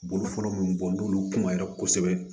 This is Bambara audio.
Boloforo min bɔ n'olu kumara kosɛbɛ